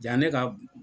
Ja ne ka